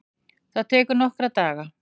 Það tekur nokkra daga.